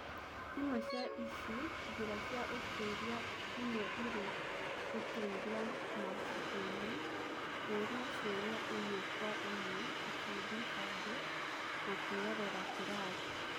Imwe cia ici, njĩra cia ũtũĩria imwe irĩ gũtuĩria mabukuinĩ, kũũria ciũria ĩmwe kwa ĩmwe, ikundi bange, na kũĩrorera kĩrathi.